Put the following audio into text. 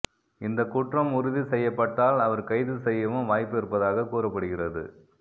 இந்த குற்றம் உறுதி செய்யப்பட்டால் அவர் கைது செய்யவும் வாய்ப்பு இருப்பதாக கூறப்படுகிறது